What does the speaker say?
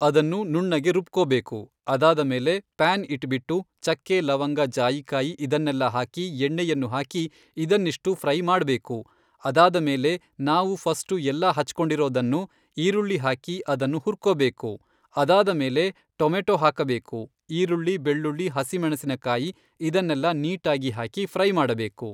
ಅದನ್ನು ನುಣ್ಣಗೆ ರುಬ್ಕೊಬೇಕು. ಅದಾದಮೇಲೆ ಪ್ಯಾನ್ ಇಟ್ಬಿಟ್ಟು ಚಕ್ಕೆ ಲವಂಗ ಜಾಯಿಕಾಯಿ ಇದನ್ನೆಲ್ಲ ಹಾಕಿ ಎಣ್ಣೆಯನ್ನು ಹಾಕಿ ಇದನ್ನಿಷ್ಟು ಫ್ರೈ ಮಾಡಬೇಕು. ಅದಾದಮೇಲೆ ನಾವು ಫಸ್ಟು ಎಲ್ಲ ಹೆಚ್ಕೊಂಡಿರೋದನ್ನು, ಈರುಳ್ಳಿ ಹಾಕಿ ಅದನ್ನು ಹುರ್ಕೊಬೇಕು. ಅದಾದಮೇಲೆ ಟೊಮೆಟೊ ಹಾಕಬೇಕು. ಈರುಳ್ಳಿ ಬೆಳ್ಳುಳ್ಳಿ ಹಸಿ ಮೆಣಸಿನಕಾಯಿ ಇದನ್ನೆಲ್ಲ ನೀಟಾಗಿ ಹಾಕಿ ಫ್ರೈ ಮಾಡಬೇಕು.